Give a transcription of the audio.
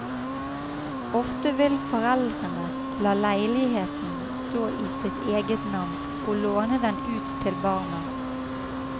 Ofte vil foreldrene la leiligheten stå i sitt eget navn, og låne den ut til barna.